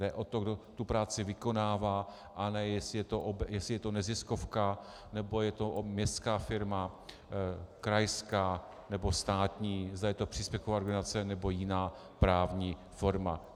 Jde o to, kdo tu práci vykonává, a ne jestli je to neziskovka, nebo je to městská firma, krajská nebo státní, zda je to příspěvková organizace nebo jiná právní forma.